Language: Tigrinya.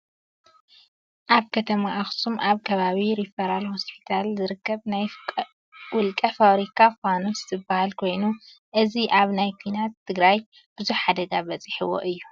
ኣብ ከተማ ኣክሱም ኣብ ከባቢ ሪፈራል ሆስፒታል ዝርከብ ናይ ውልቀ ፋብሪካ ፋኑስ ዝብሃል ኮይኑ እዚ ኣብ ናይ ኩናት ትግራይ ብዙሕ ሓደጋ በፂሕዎ እዩ።